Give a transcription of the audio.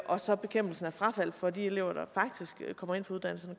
og så bekæmpelsen af frafald for de elever der faktisk kommer ind på uddannelsen